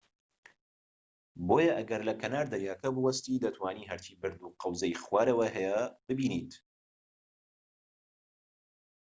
بۆیە ئەگەر لە کەنار دەریاکە بوەستیت، دەتوانیت هەرچی بەرد و قەوزەی خوارەوە هەیە ببینیت‎